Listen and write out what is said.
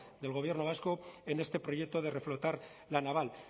del gobierno vasco en este proyecto de reflotar la naval